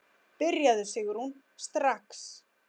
Byrjaðu Sigrún, strax.